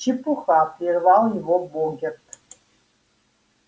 чепуха прервал её богерт